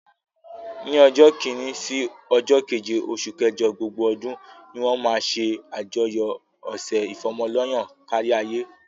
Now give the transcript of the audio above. Ni ọjọ́ kini sí ọjọ́ keje oṣù kẹjọ gbogbo ọdún ni wọ́n máa ṣe àyájọ́ ọ̀sẹ̀ ìfọ́mọ lọ́yàn káríayé.